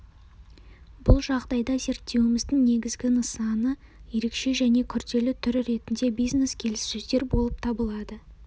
бұл жағдайда зерттеуіміздің негізгі нысаны ерекше және күрделі түрі ретінде бизнес-келіссөздер болып табылады